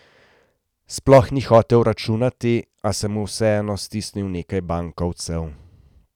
Sploh ni hotel računati, a se mu vseeno stisnil nekaj bankovcev.